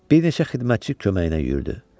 Bir neçə xidmətçi köməyinə yürüdü.